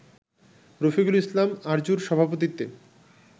রফিকুল ইসলাম আরজুর সভাপতিত্বে